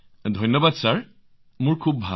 ধন্যবাদ মহোদয় খুব ভাল